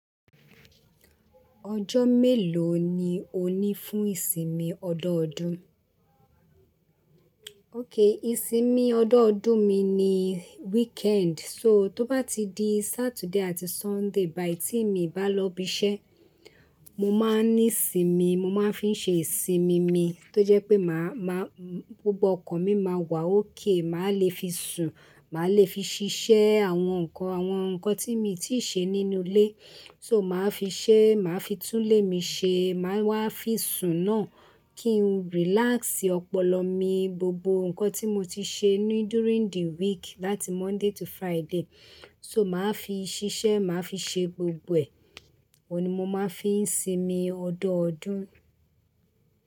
Ọjọ́ mélòó ni o ní fún ìsinmi ọjọọdún? Okay, ìsinmi ọjọọdún mi ni weekend. So tó bá ti di Saturday àti Sunday, bayi the ti mi bá lọ ibi iṣẹ́, mo máa ní sinmi, mo máa ń fi ṣe ìsinmi ni tó jẹ́ pé màá, gbogbo ọkàn mi máa wà okay, màá le fi sùn, màá le fi ṣiṣẹ́ àwọn nǹkan, àwọn nǹkan tí mo ti ṣe nínú ilé. So màá fi ṣẹ́, màá fi tún ilé mi ṣe, màá wá fi sùn náà kí n relax ọpọlọ mi. Gbogbo nǹkan tí mo ti ṣe ní during the week láti Monday to Friday, so màá fi ṣiṣẹ́, màá fi ṣe gbogbo ẹ̀. Ó ni mo máa ń fi sinmi ọdọọdún.